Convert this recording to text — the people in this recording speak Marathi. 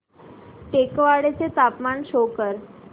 टेकवाडे चे तापमान शो कर